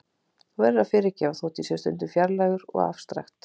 Þú verður að fyrirgefa þótt ég sé stundum fjarlægur og afstrakt.